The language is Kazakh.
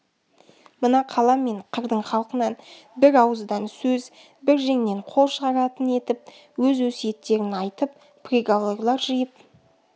мына қала мен қырдың халқынан бір ауыздан сөз бір жеңнен қол шығаратын етіп өз өсиеттерін айтып приговорлар жиып